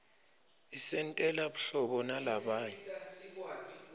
isentela buhlobo nalabanye